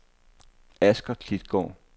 Asger Klitgaard